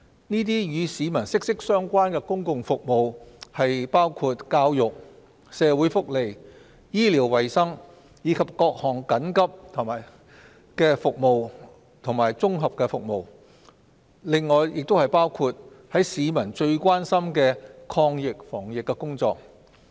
這些與市民息息相關的公共服務包括教育、社會福利、醫療衞生，以及各項緊急服務及綜合服務；此外，亦包括市民最關心的抗疫防疫工作。